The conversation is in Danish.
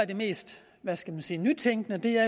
det mest hvad skal man sige nytænkende er